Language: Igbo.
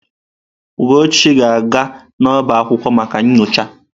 Ugochu ga-aga n'ọbá akwụkwọ maka nyocha.